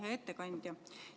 Hea ettekandja!